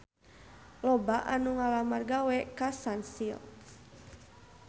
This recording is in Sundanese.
Loba anu ngalamar gawe ka Sunsilk